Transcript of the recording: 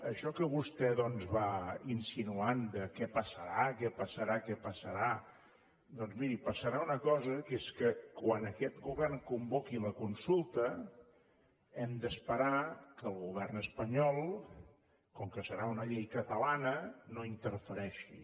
això que vostè va insinuant de què passarà què passarà doncs miri passarà una cosa que és que quan aquest govern convoqui la consulta hem d’esperar que el govern espanyol com que serà una llei catalana no interfereixi